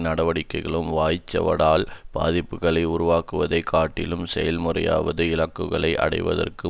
நடவடிக்கைகளும் வாய்ச்சவடால் பாதிப்புக்களை உருவாக்குவதைக் காட்டிலும் செயல்முறைவாத இலக்குகளை அடைவதற்கு